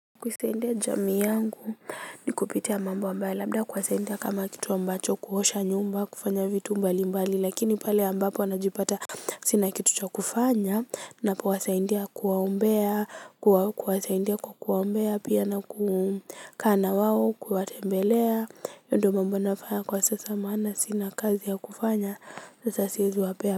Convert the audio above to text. Kusaidia jamii yangu ni kupitia mambo ambayo labda kuwa saidia kama kitu ambacho kuosha nyumba kufanya vitu mbali mbali lakini pale ambapo najipata. Sina kitu cha kufanya napo wasaidia kuwaombea kuwasaidia kwa kuwaombea pia na kukaa na wao kuwatembelea hiyo ndo mambo nafanya kwa sasa maana sina kazi ya kufanya sasa siwezi wapea.